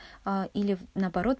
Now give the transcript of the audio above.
а или наоборот